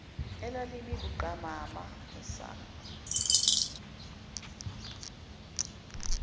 elalimi buqamama nesango